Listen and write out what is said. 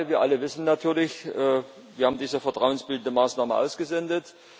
Der andere Teil Wir alle wissen natürlich, wir haben diese vertrauensbildende Maßnahme ausgesendet.